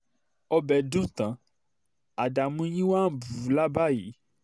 ọbẹ̀ dùn tán àdàmú yín wàá ń bù ú là báyìí